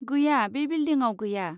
गैया, बे बिलदिंआव गैया।